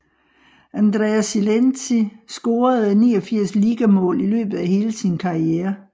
Andrea Silenzi scorede 89 ligamål i løbet af hele sin karriere